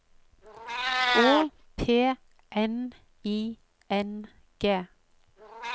Å P N I N G